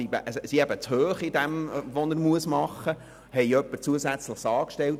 Wir stellten deshalb eine zusätzliche Person an.